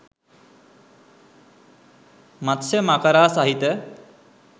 මත්ස්‍ය මකරා සහිත